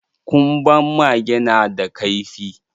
Ƙunban mage na da kaifi.